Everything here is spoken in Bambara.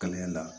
Kalan in na